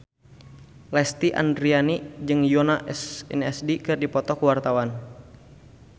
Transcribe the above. Lesti Andryani jeung Yoona SNSD keur dipoto ku wartawan